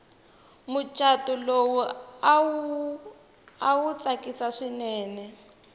muchato lowu awa awu tsakisi swinene